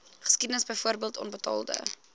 geskiedenis byvoorbeeld onbetaalde